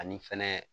Ani fɛnɛ